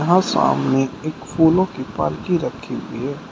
यहां सामने एक फूलों की पालकी रखी हुई है।